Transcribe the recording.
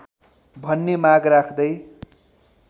भन्ने माग राख्दै